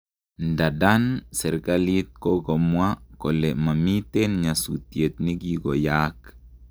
Ndadan serkalit kokomwa kole mamiten nyatusiet nikoyaaak